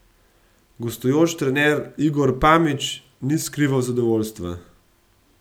Gostujoči trener Igor Pamić ni skrival zadovoljstva.